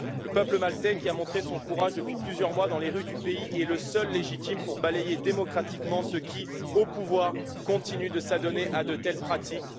Le peuple maltais, qui a montré son courage depuis plusieurs mois dans les rues du pays, est le seul légitime pour balayer démocratiquement ceux qui, au pouvoir, continuent de s'adonner à de telles pratiques.